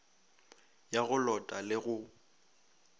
ya go lota le go